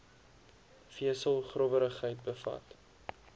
vesel growwerigheid bevat